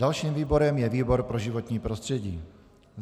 Dalším výborem je výbor pro životní prostředí.